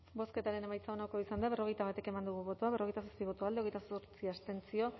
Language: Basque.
bozketaren emaitza onako izan da berrogeita bat eman dugu bozka berrogeita zazpi boto alde hogeita zortzi abstentzio